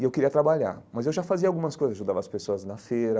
E eu queria trabalhar, mas eu já fazia algumas coisas, ajudava as pessoas na feira,